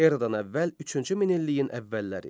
Eradan əvvəl üçüncü minilliyin əvvəlləri.